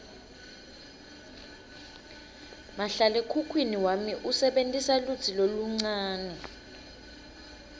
mahlalekhukhwini wami usebentisa lutsi loluncane